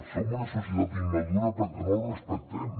som una societat immadura perquè no el respectem